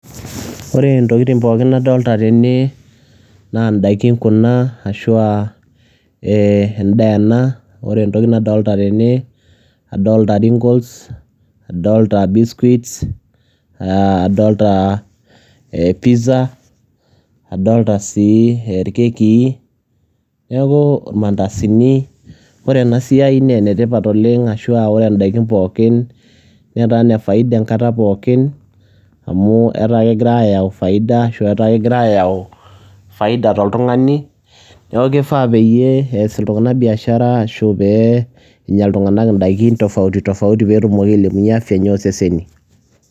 Ore intokiting pookin nadolta tene, naa daikin kuna, ashua endaa ena, ore entoki nadolta tene, adolta ringles, adolta biscuits ,adolta pizza, adolta si irkekii, neeku, irmandasini, ore enasiai nenetipat oleng, ashua ore daikin pookin, netaa nefaida enkata pookin, amu etaa kegira ayau faida, ashu etaa kegira ayau faida toltung'ani, neeku kifaa peyie ees iltung'anak biashara, ashu pee enya iltung'anak idaikin tofauti tofauti petumoki ailepunye afya enye oseseni.